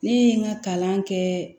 Ne ye n ka kalan kɛ